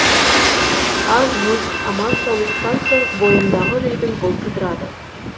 аз мұз аман саулықтан соң бойымдағы үрейдің бұлты ыдырады